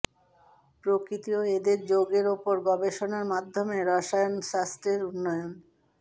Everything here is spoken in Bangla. প্রকৃতি ও এদের যৌগের উপর গবেষণার মাধ্যমে রসায়নশাস্ত্রের উন্নয়ন